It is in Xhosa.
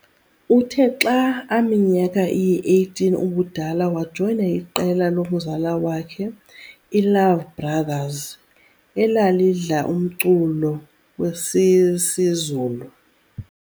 Uthe xa aminyaka iyi-18 ubudala wajoyina iqela lomzala wakhe, iiLove Brothers, elalidla umculo wesisiZulu